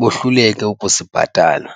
bohluleke ukusibhatala.